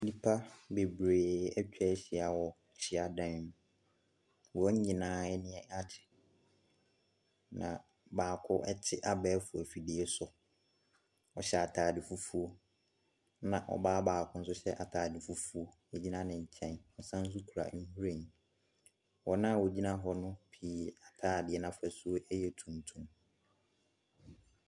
Nnipa bebree atwa ahyia wɔ hya dan mu. Wɔn nyinaa ani agye, na baako te abɛɛfo afidie si, na ɔhyɛ atade fufuo. Ɛna ɔbaa baako nso hyɛ atade fufuo gyina ne nkyɛn. Ɔsane nso kura nhwiren. Wɔn a wɔgyina hɔ no pii atadeɛ no afasuo yɛ tuntum.